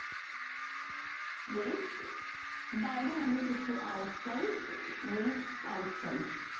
wait বাইরে English হচ্ছে outside wait outside